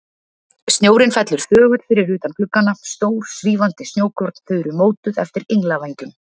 Snjórinn fellur þögull fyrir utan gluggana, stór, svífandi snjókorn, þau eru mótuð eftir englavængjum.